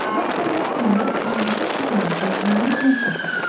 Doktor Watsonla indicə şifrəni çözdüyümüz məktubdan.